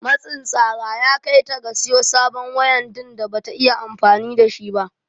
Matsin tsara ya kai ta ga siyo sabon waya din da Bata iya amfani da shi ba.